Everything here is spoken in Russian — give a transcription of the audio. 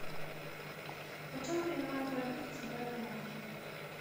почем принимают валюту в центральном банке